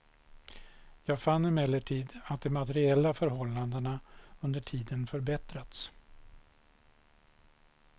Jag fann emellertid, att de materiella förhållandena under tiden förbättrats.